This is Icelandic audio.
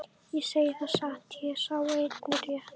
Ég segi það satt, ég er sá eini rétti.